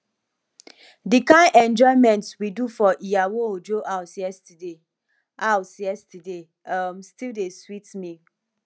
the kyn enjoyment we do for iyawo ojo house yesterday house yesterday um still dey sweet me